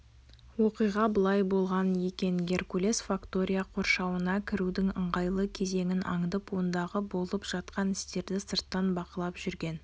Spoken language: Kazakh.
оқиға былай болған екен геркулес фактория қоршауына кірудің ыңғайлы кезеңін аңдып ондағы болып жатқан істерді сырттан бақылап жүрген